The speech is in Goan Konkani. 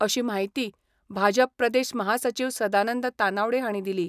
अशी माहिती भाजप प्रदेश महासचीव सदानंद तानावडे हांणी दिली.